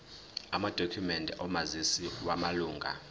amadokhumende omazisi wamalunga